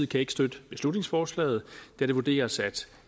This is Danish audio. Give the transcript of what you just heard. kan ikke støtte beslutningsforslaget da det vurderes at